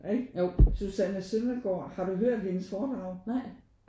Ik? Susanne Søndergaard har du hørt hendes foredrag?